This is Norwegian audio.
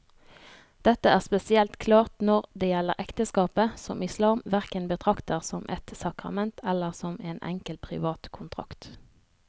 Dette er spesielt klart når det gjelder ekteskapet, som islam hverken betrakter som et sakrament eller som en enkel privat kontrakt.